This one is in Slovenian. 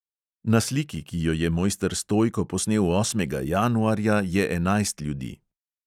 Na sliki, ki jo je mojster stojko posnel osmega januarja, je enajst ljudi.